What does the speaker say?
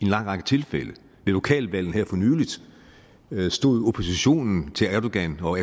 lang række tilfælde ved lokalvalgene her for nylig stod oppositionen til erdogan og